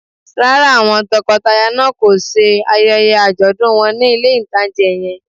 Rárá, àwọn tọkọtaya náà kò ṣe ayẹyẹ àjọ̀dún wọn ní ilé-ìtánjẹ yẹn